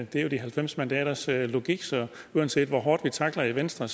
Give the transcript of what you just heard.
det er jo de halvfems mandaters logik så uanset hvor hårdt vi trækker i venstre